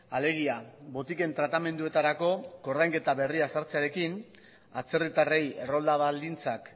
alegia botiken tratamenduetarako ordainketa berria sartzearekin atzerritarrei errolda baldintzak